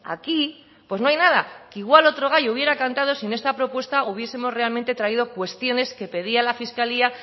aquí no hay nada que igual otro gallo hubiera cantado si en esta propuesta hubiesemos realmente traído cuestiones que pedía la fiscalía